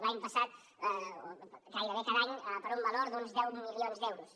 l’any passat o gairebé cada any per un valor d’uns deu milions d’euros